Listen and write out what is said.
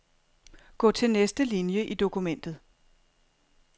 Gå til næste linie i dokumentet.